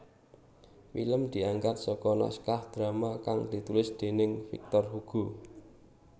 Film diangkat saka naskah drama kang ditulis déning Victor Hugo